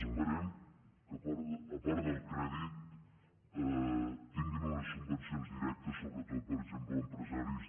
esperem que a part del crèdit tinguin unes subvencions directes sobretot per exemple empresaris